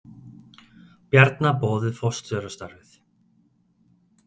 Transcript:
Bjarna boðið forstjórastarfið